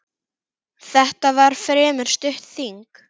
Þetta var fremur stutt þing.